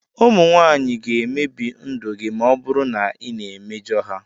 Ụmụ nwanyị ga-emebi ndụ gị ma ọ bụrụ na ị na-emejọ ha.